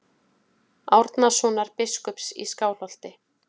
Árnasonar biskups í Skálholti.